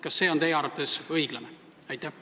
Kas see on teie arvates õiglane?